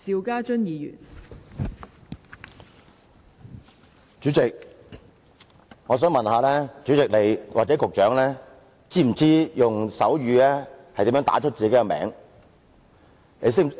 代理主席，我想問你或局長是否知道如何用手語表達自己的名字？